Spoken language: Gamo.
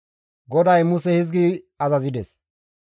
GODAY Muse hizgi azazides;